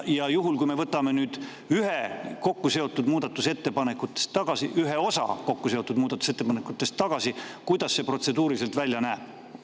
Juhul kui me võtame nüüd ühe osa kokkuseotud muudatusettepanekust tagasi, kuidas see protseduuriliselt välja näeb?